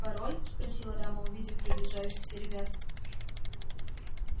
пароль спросила дама увидев приближающихся ребят